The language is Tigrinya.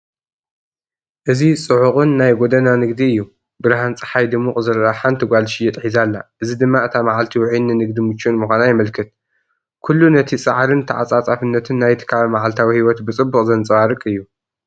እዚ ጽዑቕን ናይ ጎደና ንግዲ እዩ። ብርሃን ጸሓይ ድሙቕ ዝረአ ሓንቲ ጓል ዝሽየጥ ሒዛ ኣላ፣ እዚ ድማ እታ መዓልቲ ውዑይን ንንግዲ ምቹእን ምዃና የመልክት። ኩሉ ነቲ ጻዕርን ተዓጻጻፍነትን ናይቲ ከባቢ መዓልታዊ ህይወት ብጽቡቕ ዘንጸባርቕ እዩ!